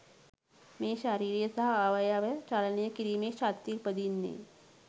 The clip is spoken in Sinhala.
මේ ශරීරය සහ අවයව චලනය කිරීමේ ශක්තිය උපදින්නේ